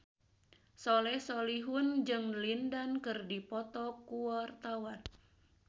Soleh Solihun jeung Lin Dan keur dipoto ku wartawan